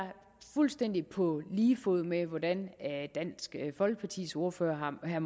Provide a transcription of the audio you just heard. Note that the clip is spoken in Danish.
fuldstændig på lige fod med hvordan dansk folkepartis ordfører herre